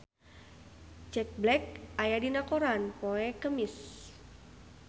Jack Black aya dina koran poe Kemis